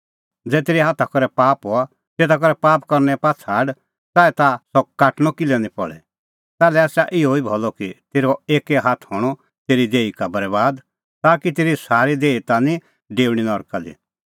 ज़ै तेरै हाथा करै पाप हआ तेता करै पाप करने पाआ छ़ाड च़ाऐ ताह सह काटणअ किल्है निं पल़े ताल्है आसा इहअ ई भलअ कि तेरअ एक्कै हाथ हणअ तेरी देही का बरैबाद ताकि तेरी सारी देही ता निं डेऊणीं नरका दी